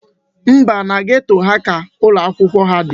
Mba, na geto a ka ụlọakwụkwọ ha dị.